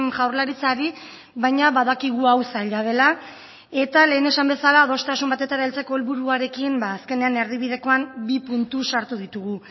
jaurlaritzari baina badakigu hau zaila dela eta lehen esan bezala adostasun batetara heltzeko helburuarekin azkenean erdibidekoan bi puntu sartu ditugu